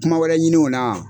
Kuma wɛrɛ ɲiniw na